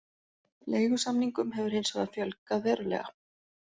Leigusamningum hefur hins vegar fjölgað verulega